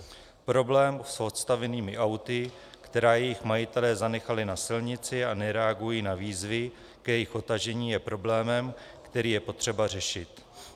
Problém s odstavenými auty, která jejich majitelé zanechali na silnici a nereagují na výzvy k jejich odtažení, je problémem, který je potřeba řešit.